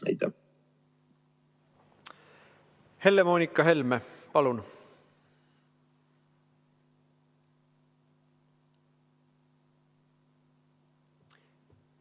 Helle-Moonika Helme, palun!